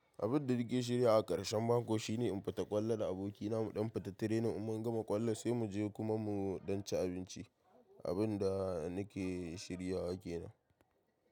Abun da nake shirywa a ƙarshen mako shine in fita ƙwallo da abokina, muɗan fita training in mun gama ƙwallo sai mu je kuma muɗan ci abinci. Abin da nake shirya wa kenan.